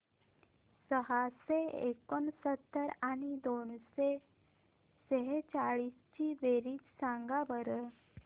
सहाशे एकोणसत्तर आणि दोनशे सेहचाळीस ची बेरीज सांगा बरं